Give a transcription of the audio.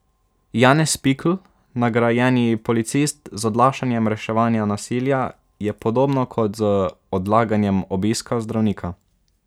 Janez Pikl, nagrajeni policist: 'Z odlašanjem reševanja nasilja je podobno kot z odlaganjem obiska zdravnika.